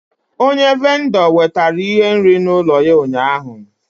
Onye vindor wetara ihe nri n'ulo ya ụnyahụ